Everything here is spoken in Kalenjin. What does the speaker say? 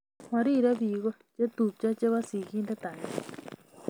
Mariree biko chetupcho chebo singindet agenge